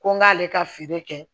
Ko n k'ale ka feere kɛ